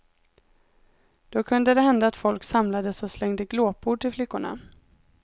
Då kunde det hända att folk samlades och slängde glåpord till flickorna.